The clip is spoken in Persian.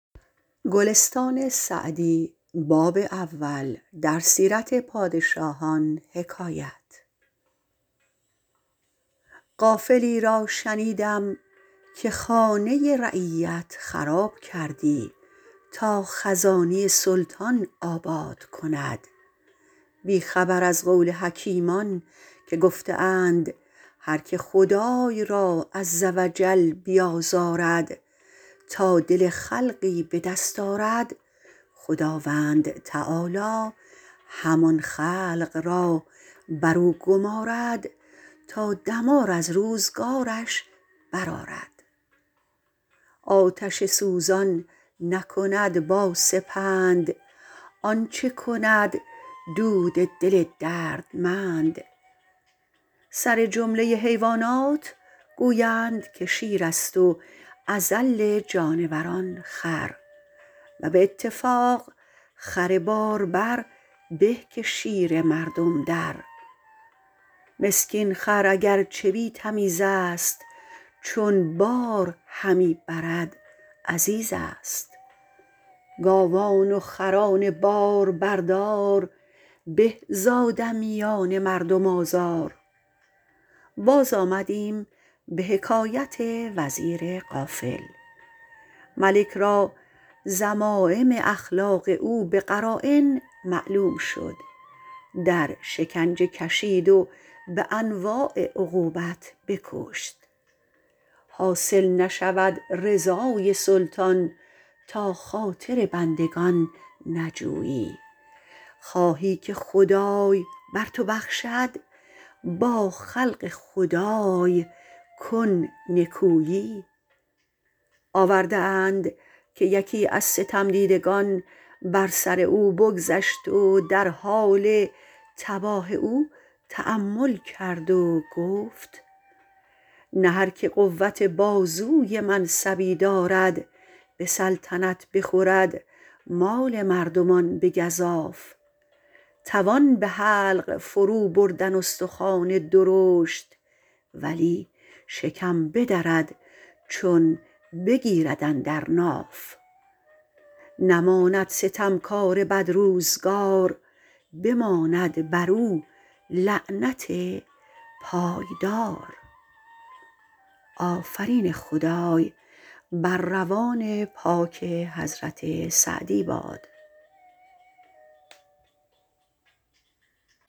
غافلی را شنیدم که خانه رعیت خراب کردی تا خزانه سلطان آباد کند بی خبر از قول حکیمان که گفته اند هرکه خدای را -عزوجل- بیازارد تا دل خلقی به دست آرد خداوند تعالیٰ همان خلق را بر او گمارد تا دمار از روزگارش برآرد آتش سوزان نکند با سپند آنچه کند دود دل دردمند سرجمله حیوانات گویند که شیر است و اذل جانوران خر و به اتفاق خر باربر به که شیر مردم در مسکین خر اگر چه بی تمیز است چون بار همی برد عزیز است گاوان و خران باربردار به ز آدمیان مردم آزار باز آمدیم به حکایت وزیر غافل ملک را ذمایم اخلاق او به قراین معلوم شد در شکنجه کشید و به انواع عقوبت بکشت حاصل نشود رضای سلطان تا خاطر بندگان نجویی خواهی که خدای بر تو بخشد با خلق خدای کن نکویی آورده اند که یکی از ستم دیدگان بر سر او بگذشت و در حال تباه او تأمل کرد و گفت نه هرکه قوت بازوی منصبی دارد به سلطنت بخورد مال مردمان به گزاف توان به حلق فرو بردن استخوان درشت ولی شکم بدرد چون بگیرد اندر ناف نماند ستم کار بدروزگار بماند بر او لعنت پایدار